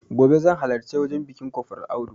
Gobe zan halarci wajen biƙin kofral audu